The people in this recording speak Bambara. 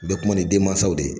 N bɛ kuma ni denmansaw de ye